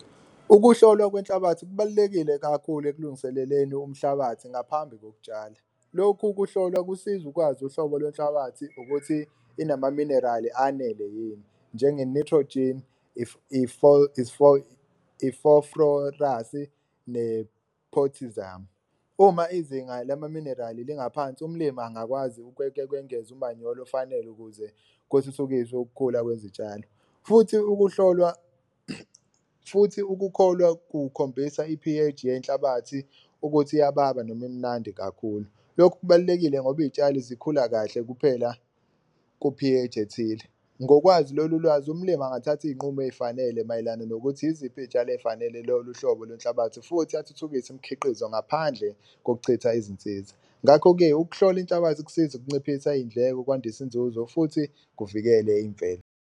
Ukuhlolwa kwenhlabathi kubalulekile kakhulu ekulungiseleleni umhlabathi ngaphambi kokutshala, lokhu kuhlolwa kusiza ukwazi uhlobo lwenhlabathi ukuthi inamaminerali anele yini njenge nitrogen, , ne-potassium. Uma izinga lamaminerali lingaphansi umlimi angakwazi ukwengeza umanyolo ofanele ukuze kuthuthukiswe ukukhula kwezitshalo, futhi ukuhlolwa futhi ukukholwa kukhombisa i-P_H yenhlabathi ukuthi iyababa noma imnandi kakhulu. Lokhu kubalulekile ngoba iy'tshali zikhula kahle kuphela ku-P_H ethile, ngokwazi lolu lwazi umlimi angathatha iy'nqumo ey'fanele mayelana nokuthi iziphi iy'tshalo ey'fanele lolu hlobo lwenhlabathi futhi athuthukise imkhiqizo ngaphandle kokuchitha izinsiza. Ngakho-ke, ukuhlola inhlabathi kusiza ukunciphisa iy'ndleko, kwandise inzuzo futhi kuvikele imvelo.